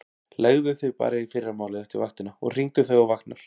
Leggðu þig bara í fyrramálið eftir vaktina og hringdu þegar þú vaknar.